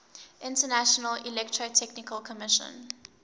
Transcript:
international electrotechnical commission